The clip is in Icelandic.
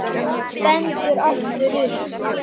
Stendur aftur upp.